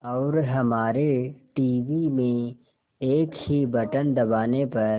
और हमारे टीवी में एक ही बटन दबाने पर